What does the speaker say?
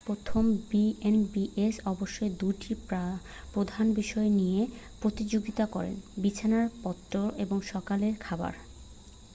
প্রথমত বিএন্ডবিএস অবশ্যই 2টি প্রধান বিষয় নিয়ে প্রতিযোগিতা করে বিছানা পত্তর এবং সকালের খাবার